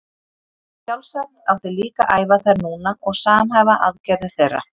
Sjálfsagt átti líka að æfa þær núna og samhæfa aðgerðir þeirra.